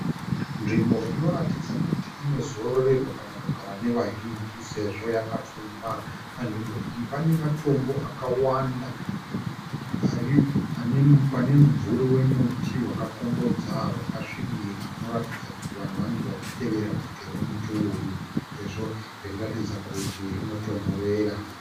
Nzvimbo inoratidza kuti inozororerwa kana kugara nevazhinji sezvo yakapfumba, panzvimbo iyi pane matombo akawanda ari pane mumvuri wemuti wakakombodza wakasvibira unoratidza kuti vanhu vanenge vachitevera bvute remuti uyu sezvo richiratidza kuti rinotonhorera.